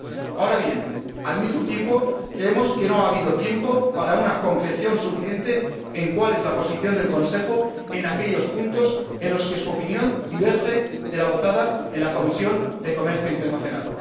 Ahora bien, al mismo tiempo creemos que no ha habido tiempo para una concreción suficiente sobre cuál es la posición del Consejo en aquellos puntos en los que su opinión diverge de la votada en la Comisión de Comercio Internacional.